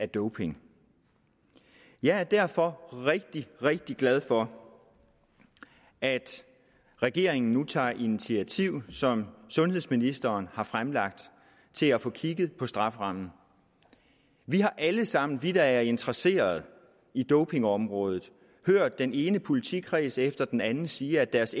doping jeg er derfor rigtig rigtig glad for at regeringen nu tager et initiativ det som sundhedsministeren har fremlagt til at få kigget på strafferammen vi har alle sammen vi der er interesset i dopingområdet hørt den ene politikreds efter den anden sige at deres